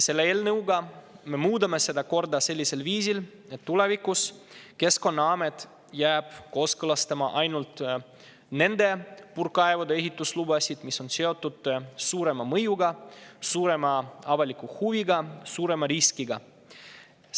Selle eelnõuga me muudame seda korda sellisel viisil, et tulevikus jääb Keskkonnaamet kooskõlastama ainult nende puurkaevude ehituslubasid, mis on seotud suurema mõjuga, suurema avaliku huviga ja suurema riskiga.